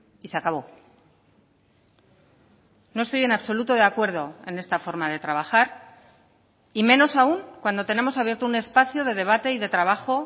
y se acabó no estoy en absoluto de acuerdo en esta forma de trabajar y menos aún cuando tenemos abierto un espacio de debate y de trabajo